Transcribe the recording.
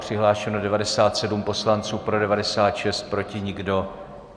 Přihlášeno 97 poslanců, pro 96, proti nikdo.